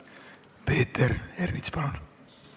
Peeter Ernits, palun!